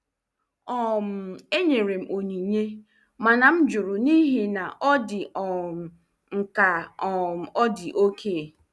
um Enyere m onyinye, mana m jụrụ n'ihi na ọ dị um m ka um ọ dị oke.